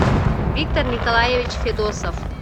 виктор николаевич федосов